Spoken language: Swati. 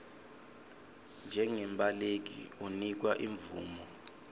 njengembaleki unikwa imvumo